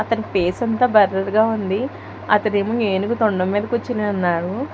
అతని ఫేస్ అంతా బ్లర్ గా ఉంది అతనేమో ఏనుగు తొండం మీద కూర్చుని ఉన్నాడు.